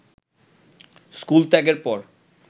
school ত্যাগের পর